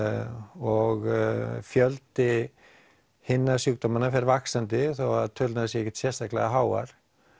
og fjöldi hinna sjúkdómanna fer vaxandi þó að tölurnar séu ekkert sérstaklega háar